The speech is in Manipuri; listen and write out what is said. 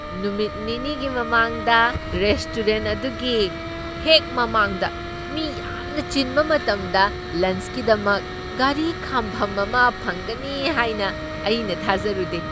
ꯅꯨꯃꯤꯠ ꯅꯤꯅꯤꯒꯤ ꯃꯃꯥꯡꯗ ꯔꯦꯁꯇꯣꯔꯦꯟꯠ ꯑꯗꯨꯒꯤ ꯍꯦꯛ ꯃꯃꯥꯡꯗ ꯃꯤ ꯌꯥꯝꯅ ꯆꯤꯟꯕ ꯃꯇꯝꯗ ꯂꯟꯆꯀꯤꯗꯃꯛ ꯒꯥꯔꯤ ꯈꯥꯝꯐꯝ ꯑꯃ ꯐꯪꯒꯅꯤ ꯍꯥꯏꯅ ꯑꯩꯅ ꯊꯥꯖꯔꯨꯗꯦ꯫